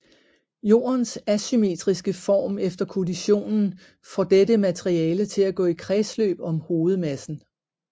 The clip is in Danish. Jordens asymmetriske form efter kollisionen får dette materiale til at gå i kredsløb om hovedmassen